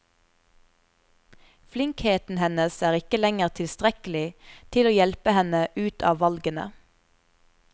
Flinkheten hennes er ikke lenger tilstrekkelig til å hjelpe henne ut av valgene.